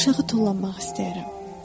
Mən aşağı tullanmaq istəyərəm.